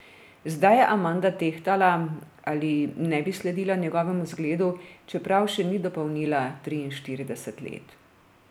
Zdaj je Amanda tehtala, ali ne bi sledila njegovemu zgledu, čeprav še ni dopolnila triinštirideset let.